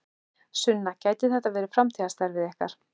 Sunna: Gæti þetta verið framtíðarstarfið ykkar?